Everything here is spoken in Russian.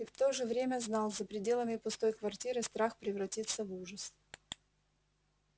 и в то же время знал за пределами пустой квартиры страх превратится в ужас